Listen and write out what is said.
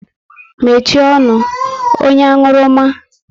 Mechie ọnụ! Onye anwurumma